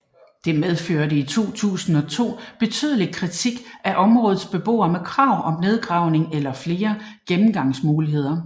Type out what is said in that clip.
Det medførte i 2002 betydelig kritik fra områdets beboere med krav om nedgravning eller flere gennemgangsmuligheder